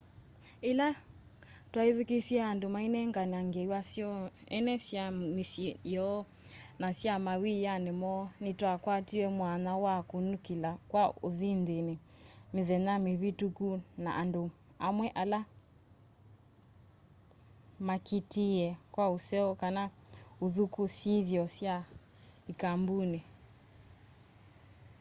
yila twethukiisye andu mainengane ngewa syoo ene sya misyi yoo na sya mawiani moo ni twakwatie mwanya wa ukunikila kwa unthini mithenya mivituku na andu amwe ala makiitie kwa useo kana uthuku syithio sya i kambuni